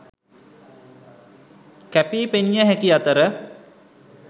කැපී පෙනිය හැකි අතර